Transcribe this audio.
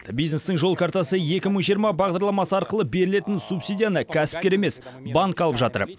бизнестің жол картасы екі мың жиырма бағдарламасы арқылы берілетін субсидияны кәсіпкер емес банк алып жатыр